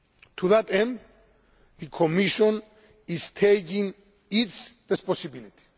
To that end, the Commission is taking its responsibility.